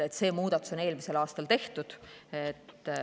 See muudatus on eelmisel aastal tehtud.